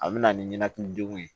A bɛ na ni ninakili degun ye